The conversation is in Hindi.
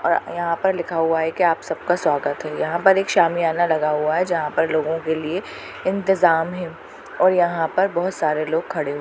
अ यहाँ पर लिखा हुआ है की आप सबका स्वागत है यहाँ पर सामियाना लगा हुआ है जहाँ पर लोगो के लिए इंतजाम है और यहाँ पर बहुत सारे लोग खड़े हुए --